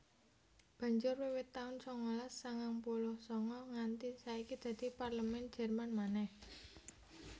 Banjur wiwit taun sangalas sangang puluh sanga nganti saiki dadi Parlemèn Jèrman manèh